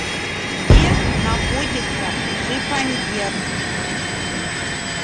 где находится шифоньер